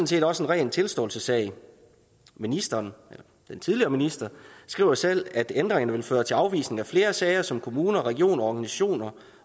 set også en ren tilståelsessag ministeren den tidligere minister skriver selv at ændringerne vil føre til afvisning af flere sager som kommuner regioner organisationer